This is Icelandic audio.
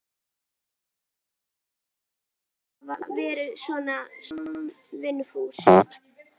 Ég meina, að hafa verið svona samvinnufús.